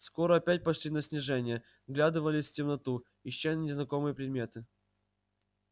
скоро опять пошли на снижение вглядывались в темноту ища незнакомые приметы